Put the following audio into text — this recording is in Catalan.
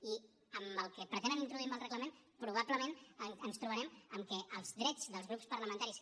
i amb el que pretenen introduir amb el reglament probablement ens trobarem amb que els drets dels grups parlamentaris